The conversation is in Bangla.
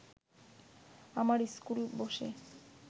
আমার ইস্কুল বসে